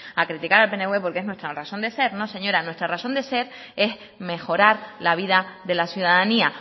a criticar al pnv porque es nuestra razón de ser no señora nuestra razón de ser es mejorar la vida de la ciudadanía